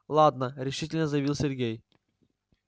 ладно решительно заявил сергей